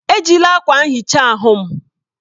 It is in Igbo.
Ejila akwa nhicha ahụ m!